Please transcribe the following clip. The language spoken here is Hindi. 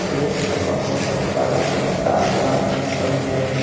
एक बहुत बरा तालाब भी है।